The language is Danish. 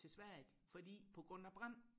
til Sverige fordi på grund af brand